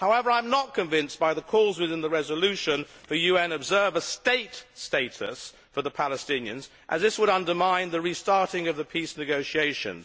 However, I am not convinced by the calls within the resolution for UN observer state status for the Palestinians, as this would undermine the restarting of the peace negotiations.